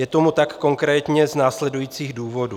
Je tomu tak konkrétně z následujících důvodů.